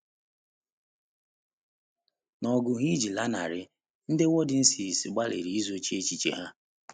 N’ọgụ ha iji lanarị, ndị Waldenses gbalịrị izochi echiche ha.